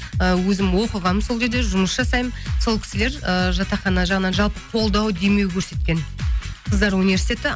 і өзім оқынғанмын сол жерде жұмыс жасаймын сол кісілер ыыы жатақхана жағынан жалпы қолдау демеу көрсеткен қыздар университеті